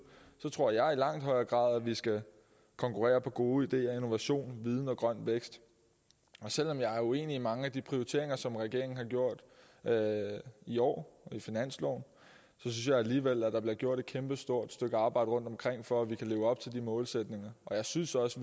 tror jeg at vi i langt højere grad skal konkurrere på gode ideer innovation viden og grøn vækst selv om jeg er uenig i mange af de prioriteringer som regeringen har taget i år i finansloven synes jeg alligevel at der bliver gjort et kæmpestort stykke arbejde rundtomkring for at vi kan leve op til de målsætninger og jeg synes også